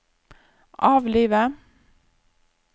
avlive